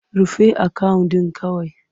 Rufe akawun ɗin kawai!